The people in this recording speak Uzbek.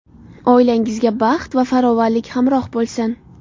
Oilangizga baxt va farovonlik hamroh bo‘lsin!